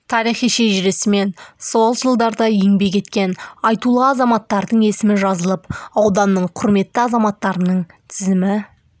тарихи шежіресі мен сол жылдарда еңбек еткен айтулы азаматтардың есімі жазылып ауданның құрметті азаматтарының тізімі